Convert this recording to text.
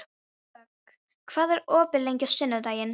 Vök, hvað er opið lengi á sunnudaginn?